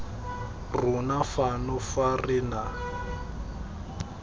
rona fano fa re na